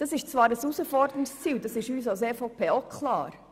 Dies ist zwar ein herausforderndes Ziel, dies ist uns als EVP auch klar.